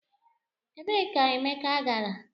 Ebee ka Emeka gara?